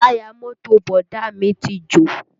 Táyà mọ́tò Bọ̀dá à mí ti jò